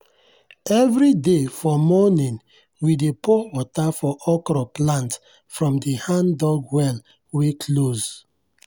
everyday for morning we dey pour water for okro plant from the hand-dug well wey close.